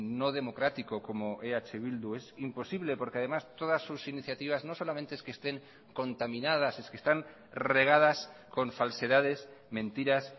no democrático como eh bildu es imposible porque además todas sus iniciativas no solamente es que estén contaminadas es que están regadas con falsedades mentiras